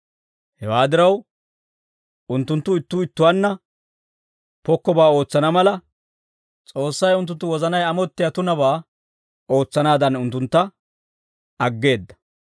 Hewaa diraw, unttunttu ittuu ittuwaanna pokkobaa ootsana mala, S'oossay unttunttu wozanay amottiyaa tunabaa ootsanaadan unttuntta aggeedda.